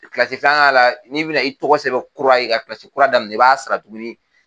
Kilasi filanan la n'i bɛna i tɔgɔ sɛbɛnbɛ kura ye ka kilasi kura daminɛ i b'a sara tugunni.